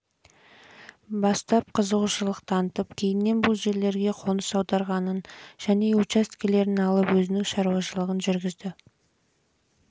бастап қызығушылық танытып кейіннен бұл жерлерге қоныс аударғанын және жер учаскелерін алып өзінің шаруашылығын жүргізгенін